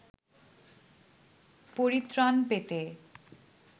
পরিত্রাণ পেতে